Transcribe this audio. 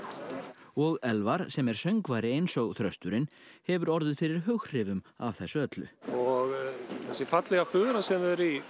og Elvar sem er söngvari eins og þrösturinn hefur orðið fyrir hughrifum af þessu öllu og þessi fallega fura sem þau eru í